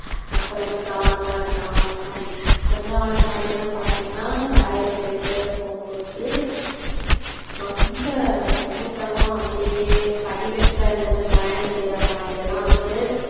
மக்கள் வந்து கவனமா இருக்கணும் அந்தமாரி. கொஞ்ச நாள் முன்னாடியெல்லாம் பாத்திங்கனா வேலைக்கு போயிட்டு போவுபோது ரொம்ப கூட்டமா அப்பிடியே படிகட்டுல நின்னு பயணம் செய்றமாதிரியெல்லாம் வந்து,